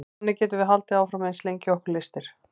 þannig getum við haldið áfram eins lengi og okkur lystir